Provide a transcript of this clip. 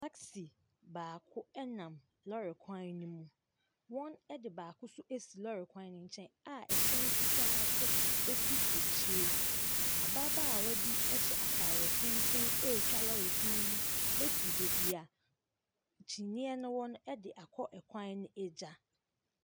Taksi baako nam lɔɔre kwan no mu. Wɔde baako nso asi lɔɔre kwan no nkyɛn a ɛhyɛn fitaa nso si akyire. Ababaawa bi hyɛ ataare tenten retwa lɔɔre kwan mu afiri baabi a kyiniiɛ no wɔ no de akɔ ɛkwan no agya.